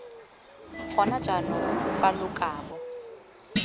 gona jaanong fa lo kabo